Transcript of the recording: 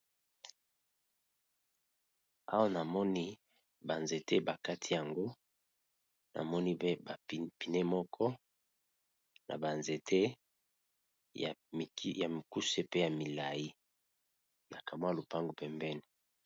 Awa namoni banzete bakati yango namoni pe bapine moko na banzete ya mikuse pe ya milai na kamwa ya lopango pembeni.